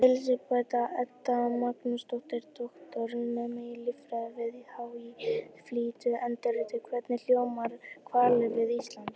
Elísabet Edda Magnúsdóttir, doktorsnemi í líffræði við HÍ, flytur erindið: Hvernig hljóma hvalir við Ísland?